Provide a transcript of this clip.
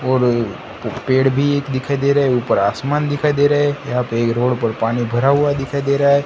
और ये पेड़ भी एक दिखाई दे रहे ऊपर आसमान दिखाई दे रहा है यहां पे एक रोड पर पानी भरा हुआ दिखाई दे रहा है।